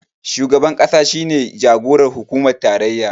Shugaban ƙasa shi ne jagoran hukumar tarayya